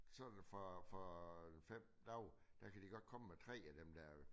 Sådan fra fra øh 5 dage der kan de godt komme med 3 af dem der